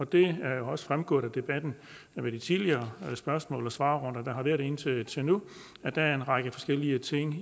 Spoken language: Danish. det er jo også fremgået af debatten og i de tidligere spørgsmål og svarrunder der har været indtil indtil nu at der er en række forskellige ting